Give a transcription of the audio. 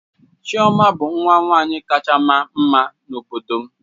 Chiọma bụ nwa nwanyị kacha ma mma n'obodo m